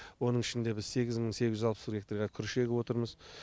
оның ішінде біз сегіз мың сегіз жүз алпыс бір гектарға күріш егіп отырмыз